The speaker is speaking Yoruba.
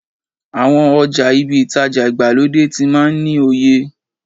Àwọn ọjà ibi ìtajà ìgbàlódé tí máa ń ní oye.